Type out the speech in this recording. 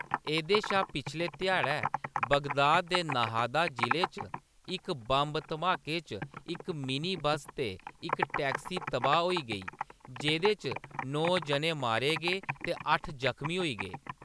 एह्‌‌‌दे शा पिछले ध्या़ड़ै , बगदाद दे नाहदा जिले च इक बंब धमाके च इक मिनी बस्स ते इक टैक्सी तबाह्‌‌ होई गेई, जेह्‌‌‌दे च नौ जने मारे गे ते अट्ठ जख्मी होई गे।